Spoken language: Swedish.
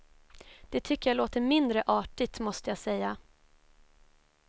Det tycker jag låter mindre artigt måste jag säga.